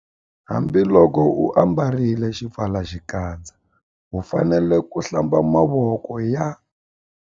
Hambiloko u ambarile xipfalaxikandza u fanele ku- Hlamba mavoko ya.